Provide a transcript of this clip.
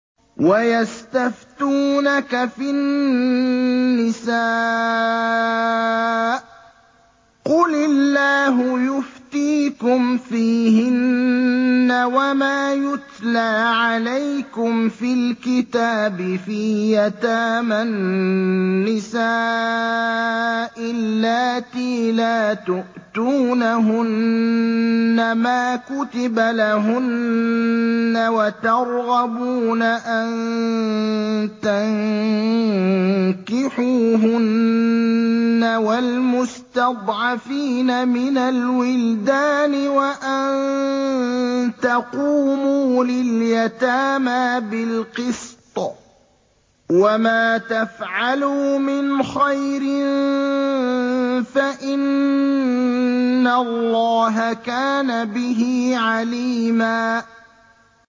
وَيَسْتَفْتُونَكَ فِي النِّسَاءِ ۖ قُلِ اللَّهُ يُفْتِيكُمْ فِيهِنَّ وَمَا يُتْلَىٰ عَلَيْكُمْ فِي الْكِتَابِ فِي يَتَامَى النِّسَاءِ اللَّاتِي لَا تُؤْتُونَهُنَّ مَا كُتِبَ لَهُنَّ وَتَرْغَبُونَ أَن تَنكِحُوهُنَّ وَالْمُسْتَضْعَفِينَ مِنَ الْوِلْدَانِ وَأَن تَقُومُوا لِلْيَتَامَىٰ بِالْقِسْطِ ۚ وَمَا تَفْعَلُوا مِنْ خَيْرٍ فَإِنَّ اللَّهَ كَانَ بِهِ عَلِيمًا